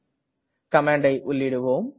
இப்போது கமாண்டை உள்ளீடுவோம்